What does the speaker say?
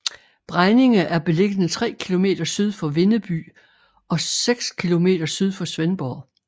Bregninge er beliggende tre kilometer syd for Vindeby og seks kilometer syd for Svendborg